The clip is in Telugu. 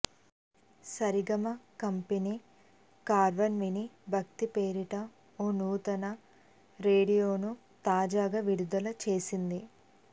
సరిగమ కంపెనీ కార్వాన్ మినీ భక్తి పేరిట ఓ నూతన రేడియోను తాజాగా విడుదల చేసింది